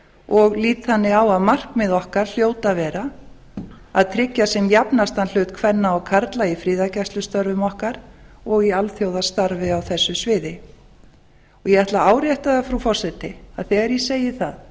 og lík á að markmið okkar hljóti að vera að tryggja sem jafnastan hlut kvenna og karla í friðargæslustörfum okkar og í alþjóðastarfi á þessu sviði ég ætla það árétta það frú forseti að þegar ég segi það